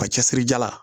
Ka cɛsiri jalan